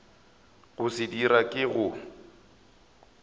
go se dira ke go